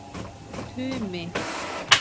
Tumi